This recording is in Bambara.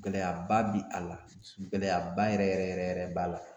Gɛlɛyaba bi a la .Gɛlɛyaba yɛrɛ yɛrɛ yɛrɛ b'a la.